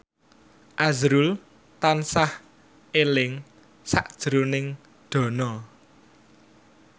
azrul tansah eling sakjroning Dono